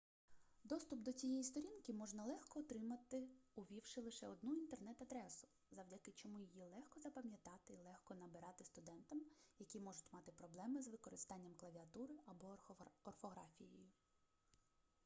доступ до цієї сторінки можна легко отримати увівши лише одну інтернет-адресу завдяки чому її легко запам'ятати і легко набирати студентам які можуть мати проблеми з використанням клавіатури або орфографією